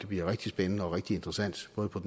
bliver rigtig spændende og rigtig interessant både på